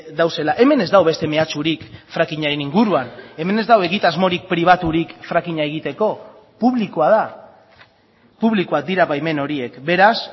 daudela hemen ez dago beste mehatxurik frackingaren inguruan hemen ez dago egitasmorik pribaturik frackinga egiteko publikoa da publikoak dira baimen horiek beraz